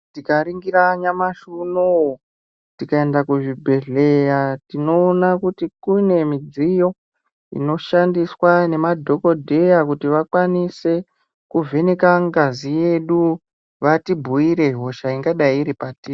Tikaningira nyamashi unou tikaenda kuzvibhedhleya tinoona kuti kunemidziyo inoshandiswa nemadhokodheya kuti vakwanise kuvheneka ngazi yedu vatibhuire hosha ingadai iripatiri.